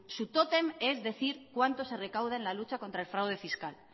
su tótem es decir cuánto se recauda en la lucha contra el fraude fiscal